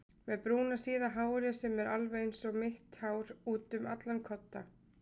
Með brúna síða hárið sem er alveg einsog mitt hár útum allan kodda.